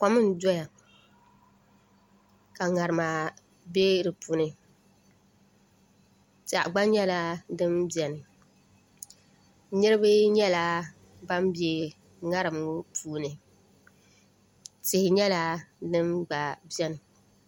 Kom n doya ka ŋarima bɛ di puuni piɛɣu gba nyɛla din biɛni niraba nyɛla ban bɛ ŋarim ŋo puuni tihi nyɛla din gba biɛni